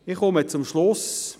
Ich komme zum Schluss.